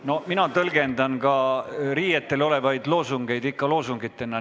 No mina tõlgendan ka riietel olevaid loosungeid ikka loosungitena.